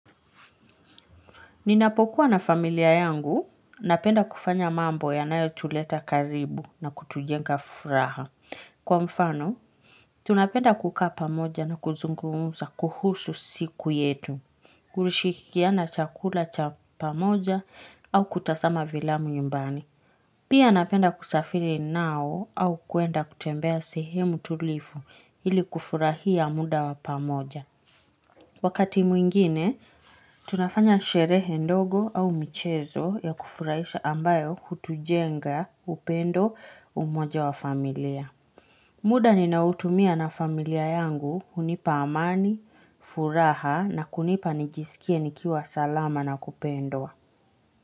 Ninapokuwa na familia yangu, napenda kufanya mambo ya nayo tuleta karibu na kutujenga furaha. Kwa mfano, tunapenda kuka pamoja na kuzungumza kuhusu siku yetu. Kurishikiana chakula cha pamoja au kutasama vilamu nyumbani. Pia napenda kusafiri nao au kuenda kutembea sehemu tulifu ili kufurahia muda wa pamoja. Wakati mwingine, tunafanya sherehe ndogo au michezo ya kufurahisha ambayo hutujenga upendo umoja wa familia. Muda ninautumia na familia yangu hunipa amani, furaha na kunipa nijisikie nikiwa salama na kupendwa.